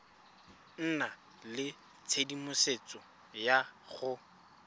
nna le tshedimosetso ya go